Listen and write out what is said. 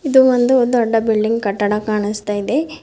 ಇದು ಒಂದು ದೊಡ್ಡ ಬಿಲ್ಡಿಂಗ್ ಕಟ್ಟಡ ಕಾಣಿಸ್ತಾ ಇದೆ.